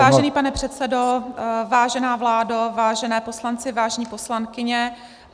Vážený pane předsedo, vážená vládo, vážení poslanci, vážené poslankyně.